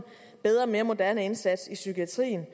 bedre og mere moderne indsats i psykiatrien